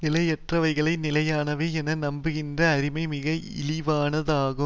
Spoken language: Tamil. நிலையற்றவைகளை நிலையானவை என நம்புகின்ற அறியாமை மிக இழிவானதாகும்